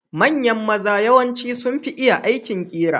Manyan maza yawanci sunfi iya aikin ƙera.